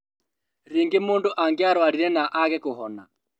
Rĩngĩ mũndũ angĩarũarire na age kuhona